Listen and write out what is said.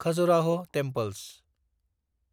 Khajuraho temples